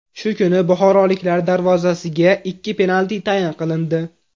Shu kuni buxoroliklar darvozasiga ikki penalti tayin qilindi.